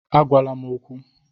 Agwala m okwu!